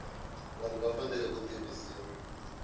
vanhu va fanele ku tivisiwa